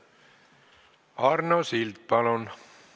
Arno Sild, palun!